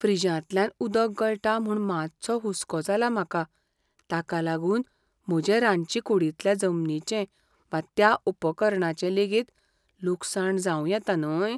फ्रिजांतल्यान उदक गळटा म्हूण मातसो हुसको जाला म्हाका ताका लागून म्हजे रांदचेकूडींतल्या जमनीचें वा त्या उपकरणाचें लेगीत लुकसाण जावं येता न्हय?